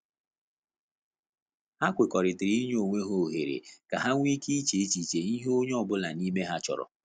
Ha kwekọrịtara inye onwe ha ohere ka ha nwe ike che echiche ihe onye ọ bụla n'ime ha chọrọ